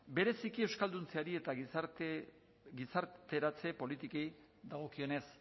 bereziki euskalduntzeari eta gizarteratze politikei dagokienez